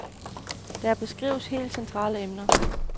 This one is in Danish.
Her beskrives helt centrale emner.